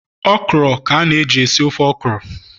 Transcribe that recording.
okra ka na e ji-esi ofe okra